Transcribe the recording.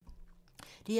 DR2